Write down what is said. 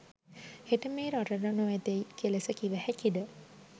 හෙට මේ රටට නොඑතැයි කෙලෙස කිව හැකිද?